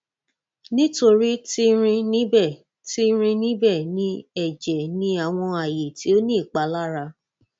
nitori ti rin nibẹ ti rin nibẹ ni ẹjẹ ni awọn aaye ti o ni ipalara